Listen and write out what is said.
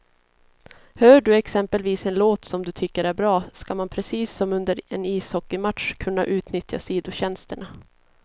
Hör du exempelvis en låt som du tycker är bra, ska man precis som under en ishockeymatch kunna utnyttja sidotjänsterna.